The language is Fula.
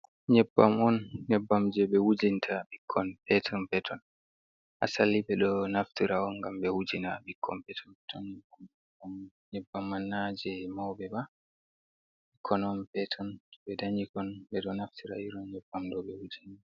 Nyebbam on neybbam je be wujinta bikkon peton-peton. Asali be do naftira on ngam be wujina bikkon peton peton. Nyebbammai na je maube ba. bikkon on peton be ɗanyikon beɗo naftira irin nyebbam ɗo be wujina.